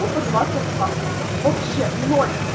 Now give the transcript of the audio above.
тупо два соска вообще ноль